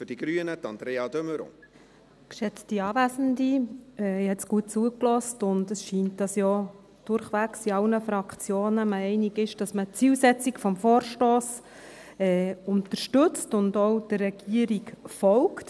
Ich habe jetzt gut zugehört, und es scheint, dass man sich durchwegs in allen Fraktionen einig ist, dass man die Zielsetzung des Vorstosses unterstützt und auch der Regierung folgt.